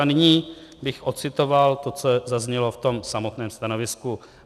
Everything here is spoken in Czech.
A nyní bych odcitoval to, co zaznělo v tom samotném stanovisku.